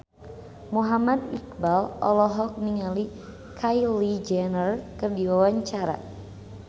Muhammad Iqbal olohok ningali Kylie Jenner keur diwawancara